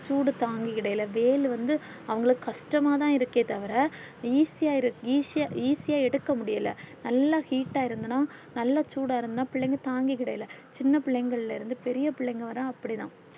சூடு தாங்கிடலே வெயில் வந்து அவங்களுக்கு கஷ்டம்மா தான் இருக்கே தவற easy easy easy யா எடுக்க முடியல நல்லா heat அ இருந்தன்னா நல்லா சூடா இருந்தன தாங்கிகிடல சின்ன பிள்ளைகளிலிருந்து பெரிய பிள்ளைங்க வரை அப்டிதான்